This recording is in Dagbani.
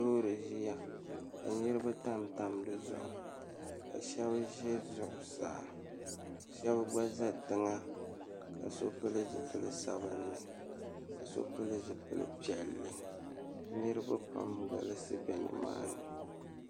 Loori ʒiya ka niriba tamtam di zuɣu ka shɛba ʒe zuɣusaa ka shɛba gba za tiŋa ka so pili zipili sabinli ka so pili zipili piɛlli niriba pam n-galisi be nimaani.